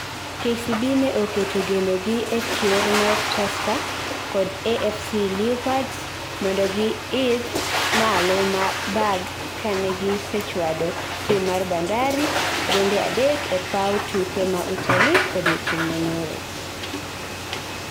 KCB ne oketo geno gi ekier mar Tusker kod AFC Leopards mondogi idh malo bag kane gi sechwado tim mar Bandari gonde adek e paw tuke ma Utalii odiochieng manyoro